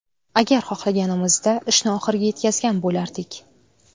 Agar xohlaganimizda ishni oxiriga yetkazgan bo‘lardik”.